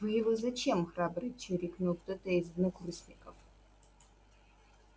вы его зачем храбро чирикнул кто-то из однокурсников